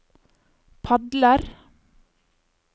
padler